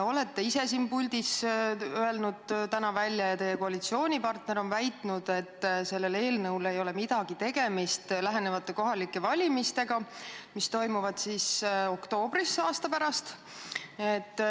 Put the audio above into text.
Olete ise siin puldis öelnud täna välja ja teie koalitsioonipartner on väitnud, et sellel eelnõul ei ole midagi tegemist lähenevate kohalike valimistega, mis toimuvad oktoobris aasta pärast.